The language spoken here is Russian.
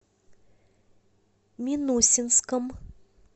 минусинском